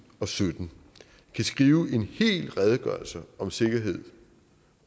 og sytten kan skrive en hel redegørelse om sikkerhed